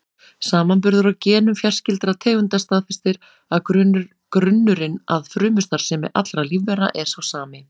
Samanburður á genum fjarskyldra tegunda staðfestir að grunnurinn að frumustarfsemi allra lífvera er sá sami.